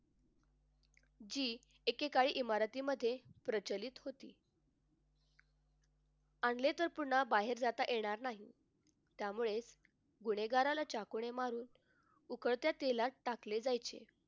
जी एकेकाळी इमारतीमध्ये प्रचलित होती. आणले तर पुन्हा बाहेर जाता येणार नाही. त्यामुळे गुन्हेगाराला चाकूने मारून उकळत्या तेलात टाकले जायचे.